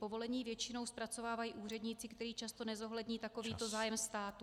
Povolení většinou zpracovávají úředníci, kteří často nezohlední takovýto zájem státu.